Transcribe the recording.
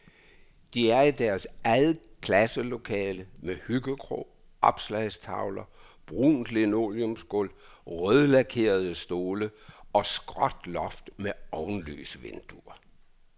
De er i deres eget klasselokale med hyggekrog, opslagstavler, brunt linoleumsgulv, rødlakerede stole og skråt loft med ovenlysvinduer.